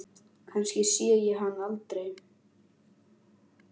Kannski sé ég hann aldrei.